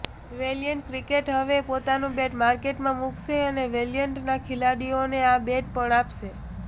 valiant cricket હવે પોતાનું bat માર્કેટમાં મુકશે ને વેલીયન્ટના ખેલાડીઓને આ બેટ પણ આપશે